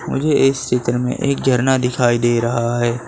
मुझे इस चित्र में एक झरना दिखाई दे रहा है।